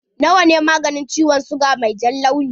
Na wa ne maganin ciwon siga mai jan launi?